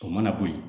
O mana bo ye